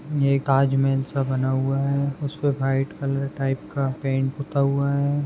ये ताजमहल सा बना हुआ है उसपे व्हाईट कलर टाइप का पेंट पुता हुआ है।